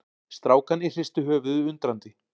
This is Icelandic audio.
Strákarnir hristu höfuðið undrandi.